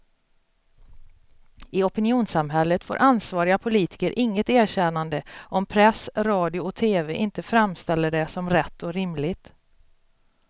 I opinionssamhället får ansvariga politiker inget erkännande om press, radio och tv inte framställer det som rätt och rimligt.